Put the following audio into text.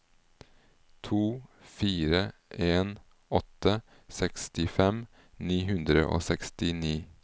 to fire en åtte sekstifem ni hundre og sekstini